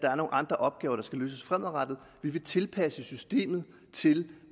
andre opgaver der skal løses fremadrettet vi vil tilpasse systemet til